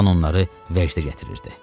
Qan onları vəcdə gətirirdi.